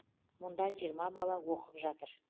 мұнда жиырма бала оқып жатыр